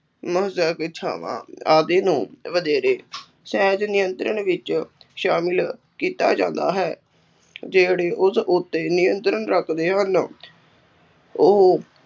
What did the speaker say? ਇੱਛਾਵਾਂ ਆਦਿ ਨੂੰ ਵਧੇਰੇ ਸਹਿਜ ਨਿਯੰਤਰਣ ਵਿੱੱਚ ਸ਼ਾਮਿਲ ਕੀਤਾ ਜਾਂਦਾ ਹੈ, ਜਿਹੜੇ ਉਸ ਉੱਤੇ ਨਿਯੰਤਰਣ ਰੱਖਦੇ ਹਨ ਉਹ